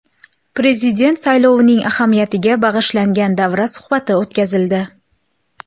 Prezident saylovining ahamiyatiga bag‘ishlangan davra suhbati o‘tkazildi.